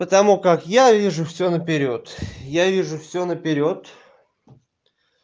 потому как я вижу всё наперёд я вижу всё наперёд